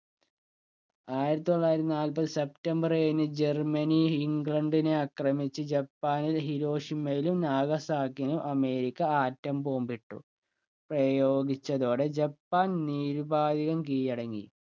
ആയിരത്തി തൊള്ളായിരത്തി നാൽപതു സെപ്റ്റംബർ ഏഴിന് ജർമ്മനി ഇംഗ്ലണ്ടിനെ ആക്രമിച്ചു ജപ്പാൻ ഹിരോഷിമയിലും നാഗസാക്കിനും അമേരിക്ക ആറ്റം ബോംബിട്ടു പ്രയോഗിച്ചതോടെ ജപ്പാൻ നിരുപാതികം കീഴടങ്ങി